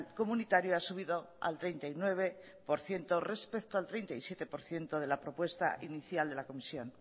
comunitario ha subido al treinta y nueve por ciento respecto al treinta y siete por ciento de la propuesta inicial de la comisión